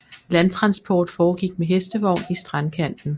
Landtransport foregik med hestevogn i strandkanten